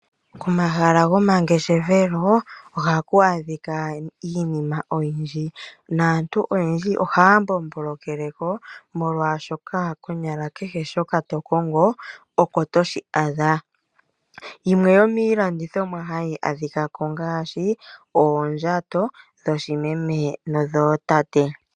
Omahala gomangeshefelo, Ohaku adhika iinima oyindji, naantu oyendji ohaya mbombo lekeleko, molwaashoka konyala kehe shoko to kongo, oko toshi adha. Yimwe yomiilandithomwa hayi a dhikako ongaashi oondjato dhoo meme no dhoo tate.